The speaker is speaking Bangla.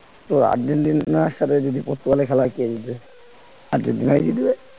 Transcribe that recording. তোর আর্জেন্টিনার সাথে যদি পর্তুগালের খেলা হয় কে জিতবে আর্জেন্টিনাই জিতবে